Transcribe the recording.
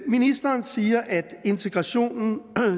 ministeren siger at integrationen